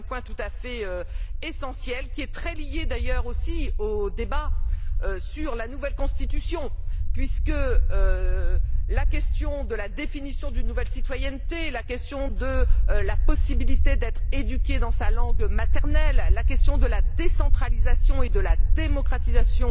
C'est un point tout à fait essentiel, également très lié au débat sur la nouvelle Constitution, puisque la question de la définition d'une nouvelle citoyenneté, la question de la possibilité d'être éduqué dans sa langue maternelle, la question de la décentralisation et de la démocratisation